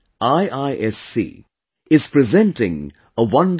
IISc, is presenting a wonderful example